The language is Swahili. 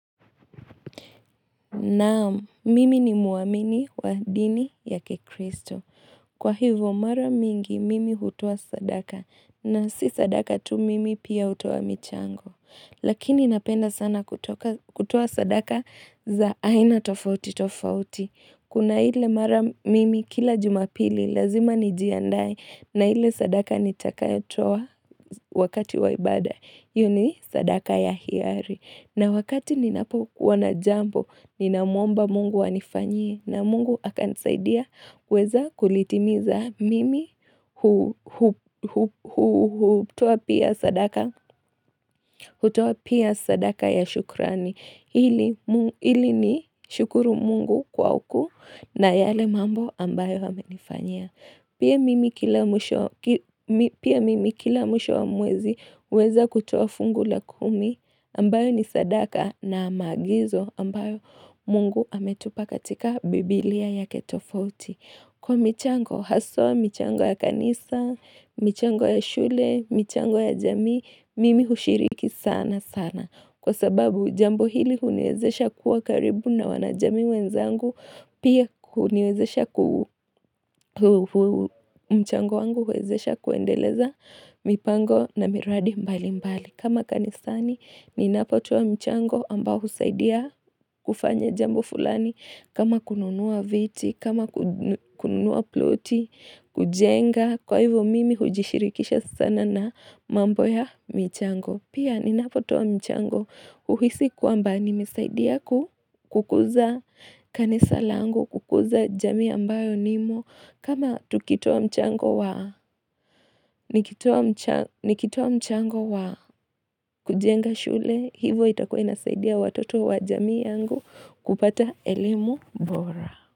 Naam, mimi ni muamini wa dini ya kikristo. Kwa hivyo mara mingi mimi hutoa sadaka na si sadaka tu mimi pia hutoa michango. Lakini napenda sana kutoa sadaka za aina tofauti tofauti. Kuna ile mara mimi kila jumapili lazima nijiandae na ile sadaka nitakayo toa wakati waibada. Hiyo ni sadaka ya hiari. Na wakati ninapokuwa na jambo, ninamuomba mungu anifanyie na mungu akanisaidia kuweza kulitimiza mimi hutoa pia sadaka ya shukrani. Hili nishukuru mungu kwa ukuu na yale mambo ambayo amenifanyia. Pia mimi kila mwisho wa mwezi uweza kutoa fungu la kumi ambayo ni sadaka na magizo ambayo mungu ametupa katika Biblia yaKe tofauti Kwa michango, haswa michango ya kanisa, michango ya shule, michango ya jami, mimi hushiriki sana sana. Kwa sababu jambo hili huniwezesha kuwa karibu na wanajamii wenzangu, pia huniwezesha kuendeleza mipango na miradi mbali mbali. Kama kanisani ninapotoa mchango ambao husaidia kufanya jambo fulani kama kununua viti, kama kununua ploti, kujenga Kwa hivyo mimi hujishirikisha sana na mambo ya michango Pia ninapotoa michango huisi kwamba nimesaidia kukuza kanisa langu kukuza jamii ambayo nimo kama tukitoa mchango wa, nikitoa mchango wa kujenga shule, hivo itakua inasaidia watoto wa jamii yangu kupata elimu bora.